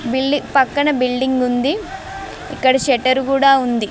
బిల్డి పక్కన బిల్డింగ్ ఉంది ఇక్కడ షెటర్ కూడా ఉంది.